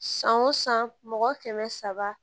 San o san mɔgɔ kɛmɛ saba